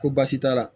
Ko baasi t'a la